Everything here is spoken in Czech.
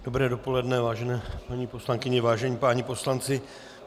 Dobré dopoledne vážené paní poslankyně, vážení páni poslanci.